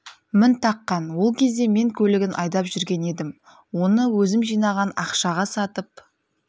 мін таққан ол кезде мен көлігін айдап жүрген едім оны өзім жинаған ақшаға сатып